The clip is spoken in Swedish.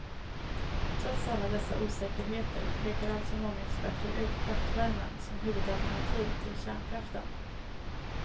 Trots alla dessa osäkerheter pekar alltså många experter ut kraftvärmen som huvudalternativ till kärnkraften.